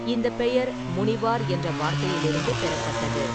இந்த பெயர் முனிவார் என்ற வார்த்தையிலிருந்து பெறப்பட்டது.